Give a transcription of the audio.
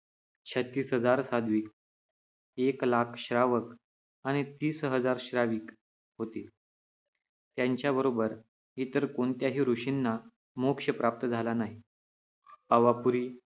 छत्तीस हजार साध्वी, एक लाख श्रावक आणि तीस हजार श्राविक होते. त्याच्याबरोबर इतर कोणत्याही ऋषींना मोक्ष प्राप्त झाला नाही. पावापुरी